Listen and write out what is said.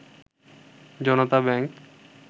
Janata bank